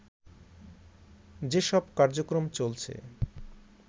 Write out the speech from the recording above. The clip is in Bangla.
যেসব কার্যক্রম চলছে